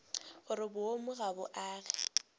gore boomo ga bo age